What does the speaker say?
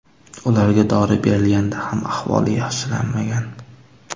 Ularga dori berilganida ham ahvoli yaxshilanmagan.